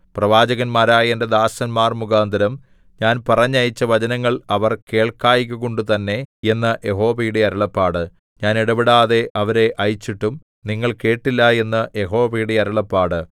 പ്രവാചകന്മാരായ എന്റെ ദാസന്മാർ മുഖാന്തരം ഞാൻ പറഞ്ഞയച്ച വചനങ്ങൾ അവർ കേൾക്കായ്കകൊണ്ടു തന്നെ എന്ന് യഹോവയുടെ അരുളപ്പാട് ഞാൻ ഇടവിടാതെ അവരെ അയച്ചിട്ടും നിങ്ങൾ കേട്ടില്ല എന്ന് യഹോവയുടെ അരുളപ്പാട്